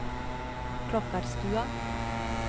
Klokkarstua